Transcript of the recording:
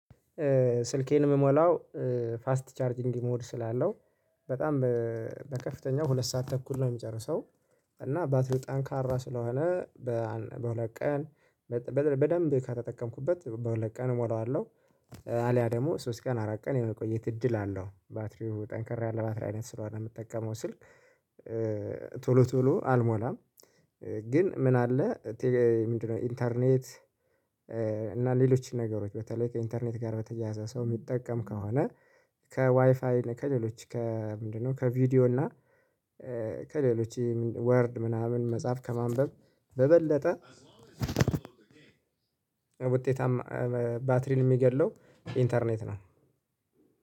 ስልኬን የምሞላው ፋስት ቻርጂንግ ሞድ ስላለው በጣም በከፍተኛው ሁለት ሰዓት ተኩል ነው የምጨርሰው። እና ባትሪ ጠንካራ ስለሆነ በሁለት ቀን በደንብ ከተጠቀምኩበት በሁለት ቀን እሞላዋለሁ። አልያ ደግሞ ሶስት ቀን አራት ቀን የመቆየት እድል አለው። ባትሪው ጠንከር ያለ ባትሪ አይነት ስለሆነ የምጠቀመው ስልክ ቶሎ ቶሎ አልሞላም። ግን ምን አለ ምንድነው ኢንተርኔት? እና ሌሎች ነገሮች በተለይ ከኢንተርኔት ጋር በተያያዘ ሰው የሚጠቀም ከሆነ ከዋይፋይ ከሌሎች ከምንድነው ከቪዲዮ እና ከሌሎች ወርድ ምናምን መጽሐፍ ከማንበብ በበለጠ ውጤታማ ባትሪን የሚገድለው ኢንተርኔት ነው።